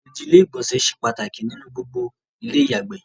ìnùdí ilé ìgbọ̀nsẹ̀ se pàtàkì ní gbogbo ilé ìyàgbè